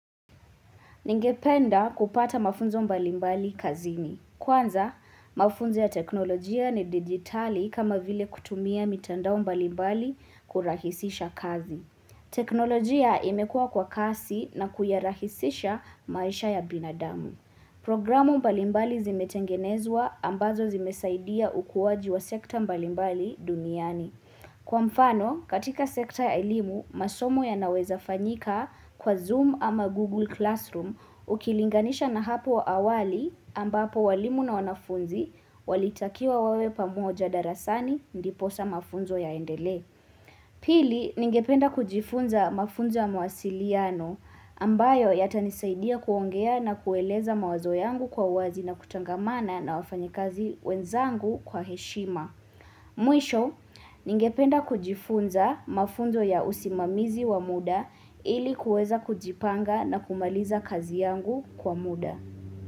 Ningependa kupata mafunzo mbalimbali kazini. Kwanza, mafunzo ya teknolojia ni digitali kama vile kutumia mitandao mbalimbali kurahisisha kazi. Teknolojia imekua kwa kasi na kuyarahisisha maisha ya binadamu. Programu mbalimbali zimetengenezwa ambazo zimesaidia ukuwaji wa sekta mbalimbali duniani. Kwa mfano, katika sekta ya elimu, masomo yanaweza fanyika kwa Zoom ama Google Classroom ukilinganisha na hapo awali ambapo walimu na wanafunzi walitakiwa wawe pamoja darasani ndiposa mafunzo yaendele. Pili, ningependa kujifunza mafunzo ya mawasiliyano ambayo yata nisaidia kuongea na kueleza mawazo yangu kwa wazi na kutangamana na wafanyekazi wenzangu kwa heshima. Mwisho, ningependa kujifunza mafunzo ya usimamizi wa muda ilikuweza kujipanga na kumaliza kazi yangu kwa muda.